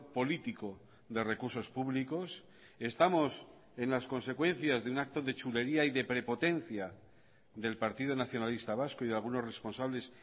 político de recursos públicos estamos en las consecuencias de un acto de chulería y de prepotencia del partido nacionalista vasco y de algunos responsables